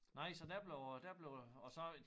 Nej så der blev øh der blev og så